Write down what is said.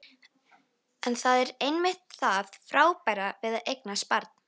En það er einmitt það frábæra við að eignast barn.